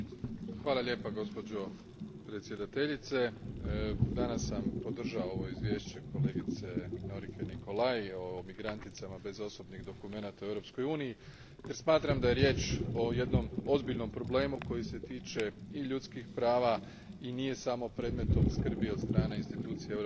Gospođo predsjedavajuća, danas sam podržao ovo izvješće kolegice Norice Nicolai o migranticama bez osobnih dokumenata u Europskoj uniji jer smatram da je riječ o jednom ozbiljnom problemu koji se tiče i ljudskih prava i nije samo predmet skrbi od strane institucija Europske unije,